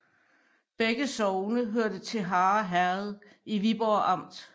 Begge sogne hørte til Harre Herred i Viborg Amt